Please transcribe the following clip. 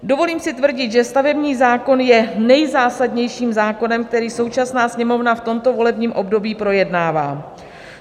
Dovolím si tvrdit, že stavební zákon je nejzásadnějším zákonem, které současná Sněmovna v tomto volebním období projednává.